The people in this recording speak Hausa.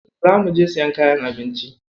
Za muje siyan kayan abinci.